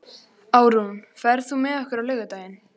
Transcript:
Árún, ferð þú með okkur á laugardaginn?